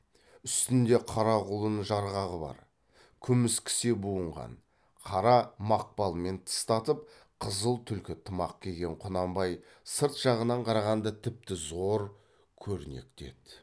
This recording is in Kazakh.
үстінде қара құлын жарғағы бар күміс кісе буынған қара мақпалмен тыстатып қызыл түлкі тымақ киген құнанбай сырт жағынан қарағанда тіпті зор көрнекті еді